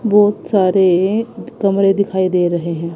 बहोत सारे कमरे दिखाई दे रहे हैं।